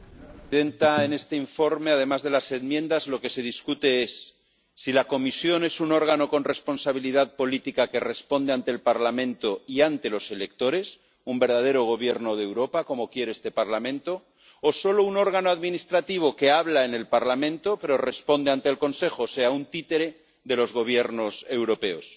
Señora presidenta, en este informe, además de las enmiendas, lo que se discute es si la Comisión es un órgano con responsabilidad política que responde ante el Parlamento y ante los electores —un verdadero gobierno de Europa como quiere este Parlamento—, o solo un órgano administrativo que habla en el Parlamento pero responde ante el Consejo, o sea, un títere de los Gobiernos europeos.